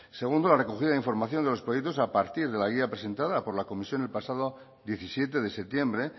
segundo la recogida de información de los proyectos a partir de la guía presentada por la comisión el pasado diecisiete de septiembre